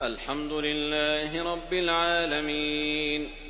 الْحَمْدُ لِلَّهِ رَبِّ الْعَالَمِينَ